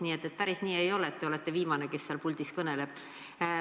Nii et päris nii ei ole, et te olete viimane, kes seal puldis kõneleb.